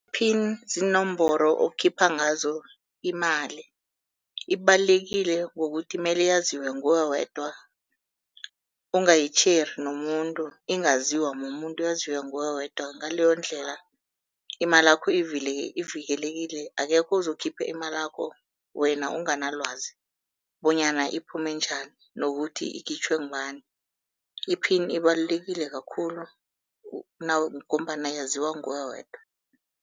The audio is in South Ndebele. Pin ziinomboro okhipha ngazo imali, ibalulekile ngokuthi mele yaziwe nguwe wedwa ungayitjheri nomuntu, ingaziwa mumuntu yaziwe nguwe wedwa. Ngaleyondlela imalakho ivikelekile akekho ozokhipha imalakho wena unganalwazi bonyana iphume njani, nokuthi ikhitjhwe ngubani. I-pin ibalulekile kakhulu, ngombana yaziwa nguwe wedwa.